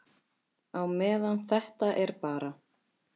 Á meðan þetta er bara.